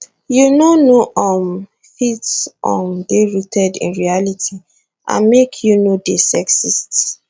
you no no um fit um dey rooted in reality and make you no dey sexist